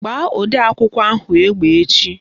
Gbaa odeakwụkwọ ahụ egbe echi!